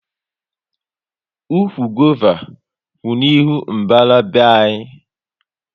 Ụkwụ gova kwú n'ihu mbara be anyị